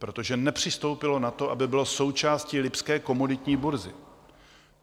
Protože nepřistoupilo na to, aby bylo součástí lipské komoditní burzy.